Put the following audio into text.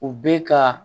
U bɛ ka